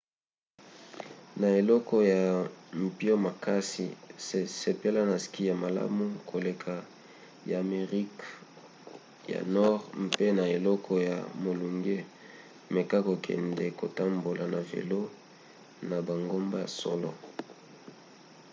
na eleko ya mpio makasi sepela na ski ya malamu koleka ya amerika ya nord pe na eleko ya molunge meka kokende kotambola na velo na bangomba ya solo